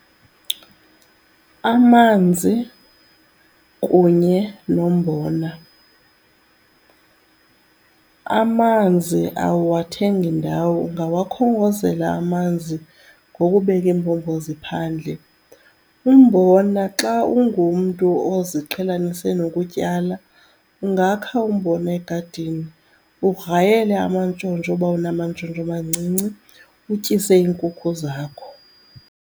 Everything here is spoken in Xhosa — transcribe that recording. Amanzi kunye nombona, amanzi awuwathengi ndawo ungawakhongozela amanzi ngokubeka iimbombozi phandle. Umbona xa ungumntu oziqhelanise nokutyala, ungakha umbona egadini ugrayele amantshontsho uba unamantshontsho amancinci, utyise iinkukhu zakho.